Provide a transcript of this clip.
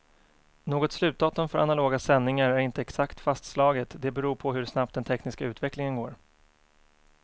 Något slutdatum för analoga sändningar är inte exakt fastslaget, det beror på hur snabbt den tekniska utvecklingen går.